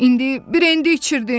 İndi brendi içirdin.